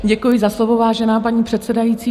Děkuji za slovo, vážená paní předsedající.